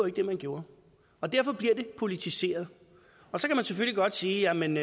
ikke det man gjorde og derfor blev det politiseret så kan man selvfølgelig godt sige at man